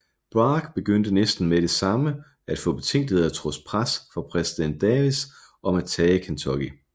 Bragg begyndte næsten med det samme at få betænkeligheder trods pres fra præsident Davis om at tage Kentucky